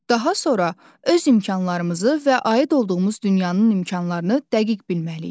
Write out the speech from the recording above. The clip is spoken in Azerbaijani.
Daha sonra öz imkanlarımızı və aid olduğumuz dünyanın imkanlarını dəqiq bilməliyik.